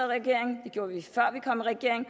regering det gjorde vi før vi kom i regering og